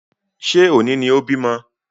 Ṣé òní ni o bímọ?